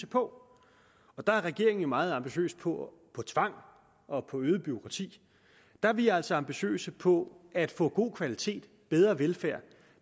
på der er regeringen jo meget ambitiøs på tvang og på øget bureaukrati der er vi altså ambitiøse på at få god kvalitet bedre velfærd